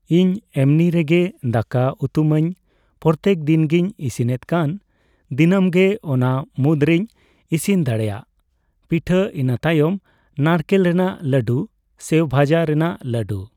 ᱤᱧ ᱮᱢᱱᱤᱨᱮᱜᱮ ᱫᱟᱠᱟ ᱩᱛᱩᱢᱟᱧ ᱯᱨᱚᱛᱮᱠ ᱫᱤᱱ ᱜᱤᱧ ᱤᱥᱤᱱᱮᱫ ᱠᱟᱱ ᱫᱤᱱᱟᱹᱢ ᱜᱮ ᱚᱱᱟ ᱢᱩᱫᱽᱨᱮᱧ ᱤᱥᱤᱱ ᱫᱟᱲᱮᱹᱭᱟᱜᱼᱟ ᱯᱤᱴᱷᱟᱹ ᱤᱱᱟᱹ ᱛᱟᱭᱚᱢ ᱱᱟᱨᱠᱮᱞ ᱨᱮᱱᱟᱜ ᱞᱟᱹᱰᱩ ᱥᱮᱣᱵᱷᱟᱡᱟ ᱨᱮᱱᱟᱜ ᱞᱟᱹᱰᱩ ᱾